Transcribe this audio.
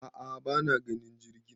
a'a bana ganin jirgin